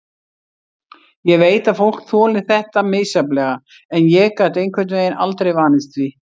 Ég veit að fólk þolir þetta misjafnlega en ég gat einhvern veginn aldrei vanist því.